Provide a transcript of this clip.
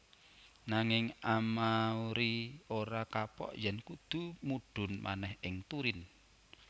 Nanging Amauri ora kapok yèn kudu mudhun manèh ing Turin